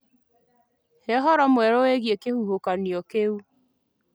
He ũhoro mwerũ wĩgiĩ kĩhuhũkanio kĩu